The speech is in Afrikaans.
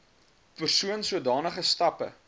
persoon sodanige stappe